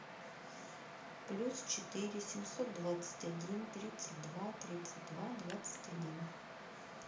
плюс четыре семьсот двадцать один тридцать два тридцать два двадцать один